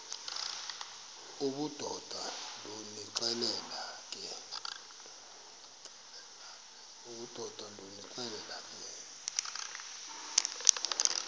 obudoda ndonixelela ke